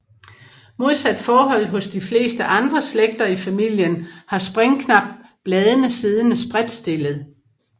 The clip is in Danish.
Modsat forholdet hos de fleste andre slægter i familien har Springknap bladene siddende spredtstillet